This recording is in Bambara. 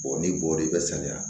Bɔn ni bɔrɛ bɛ sariya